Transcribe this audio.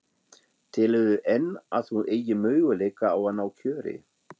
Telurðu enn að þú eigir möguleika á að ná kjöri?